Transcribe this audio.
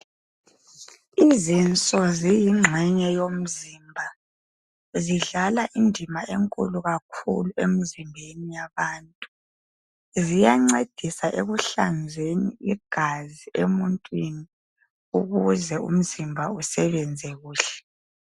Izinso ziyingxenye yomzimba. Zidlala indima enkulu kakhulu emzimbeni yabantu. Ziyancedisa ekuhlanzeni igazi ebantwini, ukuze umzimba usebenze kuhle.